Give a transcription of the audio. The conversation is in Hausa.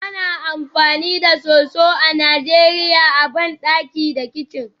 Ana amfani da soso a Najeriya a bandaki da kicin